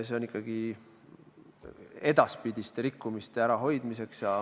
See on ikkagi edaspidiste rikkumiste ärahoidmiseks.